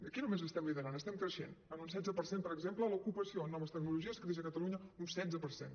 aquí no només ho estem liderant estem creixent en un setze per cent per exemple l’ocupació en noves tecnologies creix a catalunya un setze per cent